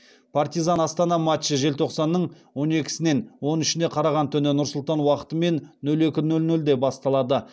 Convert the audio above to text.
партизан астана матчы желтоқсанның он екісінен он үшіне қараған түні нұр сұлтан уақытымен нөл екі нөл нөлде басталады